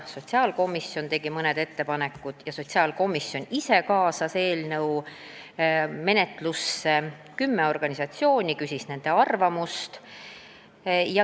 Sotsiaalkomisjon tegi ise mõned ettepanekud ja kaasas eelnõu menetlusse kümme organisatsiooni, küsis nende arvamust.